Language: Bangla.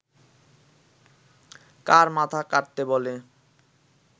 কার মাথা কাটতে বলে